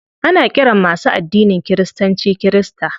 Ana ƙiran masu addinin kiristanci kirista.